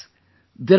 Friends,